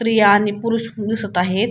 स्त्रिया आणि पुरुष पण दिसत आहेत.